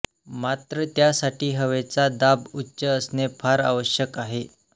मात्र त्यासाठी हवेचा दाब उच्च असणे फार आवश्यक आहे